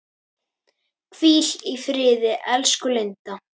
Hvíl í friði, elsku Linda.